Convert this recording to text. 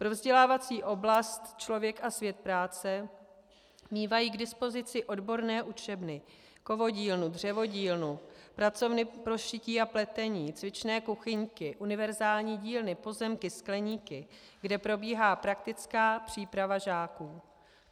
Pro vzdělávací oblast člověk a svět práce mívají k dispozici odborné učebny, kovodílnu, dřevodílnu, pracovny pro šití a pletení, cvičné kuchyňky, univerzální dílny, pozemky, skleníky, kde probíhá praktická příprava žáků.